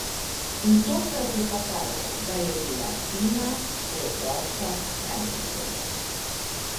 In tokrat je pokazal, da je bila Tina preprosto najhitrejša.